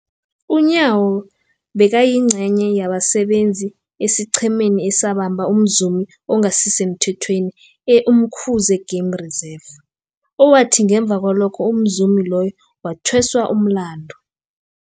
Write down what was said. UNyawo bekayingcenye yabasebenza esiqhemeni esabamba umzumi ongasisemthethweni e-Umkhuze Game Reserve, owathi ngemva kwalokho umzumi loyo wathweswa umlandu.